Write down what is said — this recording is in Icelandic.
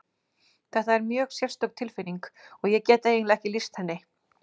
Þetta er mjög sérstök tilfinning og ég get eiginlega ekki lýst henni.